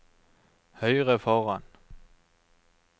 høyre foran